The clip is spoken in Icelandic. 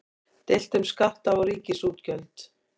Deilt um skatta og ríkisútgjöld